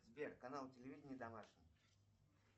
сбер канал телевидения домашний